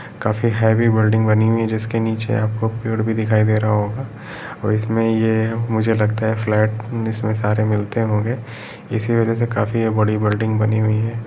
काफी heavy building बनी हुई हैं जिसके नीचे आपको पेड़ भी दिखाई दे रहा होगा और इसमे ये मुझे लगता फ्लैट इसमे सारे मिलते होंगे इसी वजह से काफी ये बड़ी बिल्डिंग बनी हुई हैं।